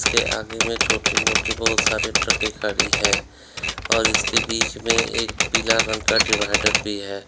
ये आगे में छोटे मोटे बहुत सारे ट्रके खड़ी है और इसके बीच में एक पीला रंग का डिवाइडर भी है।